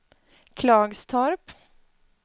Klagstorp